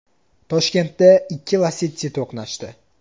Toshkentda ikki Lacetti to‘qnashdi.